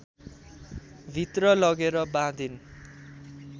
भित्र लगेर बाँधिन्